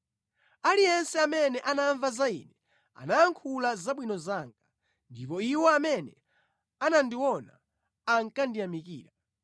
Aliyense amene anamva za ine anayankhula zabwino zanga, ndipo iwo amene anandiona ankandiyamikira,